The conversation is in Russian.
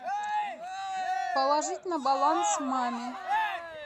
положить на баланс маме